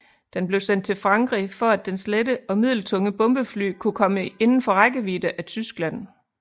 Den blev sendt til Frankrig for at dens lette og middeltunge bombefly kunne komme indenfor rækkevidde af Tyskland